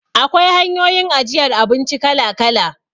Akwai hanyoyin ajiyar abinci kala-kala.